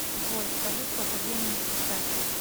джой скажи сколько времени сейчас